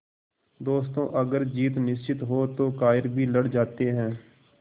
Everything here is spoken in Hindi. दोस्तों अगर जीत निश्चित हो तो कायर भी लड़ जाते हैं